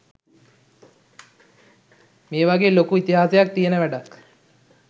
මේ වගේ ලොකු ඉතිහාසයක් තියෙන වැඩක්